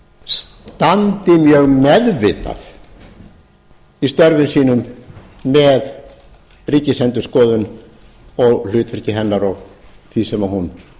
standi mjög meðvitað í störfum sínum með ríkisendurskoðun og hlutverki beinar og því sem hún